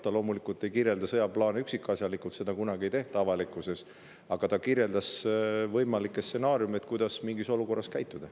Ta loomulikult ei kirjeldanud sõjaplaane üksikasjalikult, seda kunagi avalikkuse ees ei tehta, aga ta kirjeldas võimalikke stsenaariume, kuidas mingis olukorras käituda.